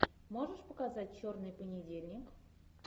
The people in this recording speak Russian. можешь показать черный понедельник